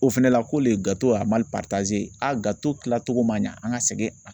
O fɛnɛ la ko le kilacogo ma ɲa an ka sɛgɛn a.